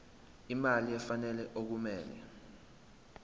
imali efanele okumele